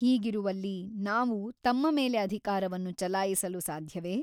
ಹೀಗಿರುವಲ್ಲಿ ನಾವು ತಮ್ಮ ಮೇಲೆ ಅಧಿಕಾರವನ್ನು ಚಲಾಯಿಸಲು ಸಾಧ್ಯವೇ ?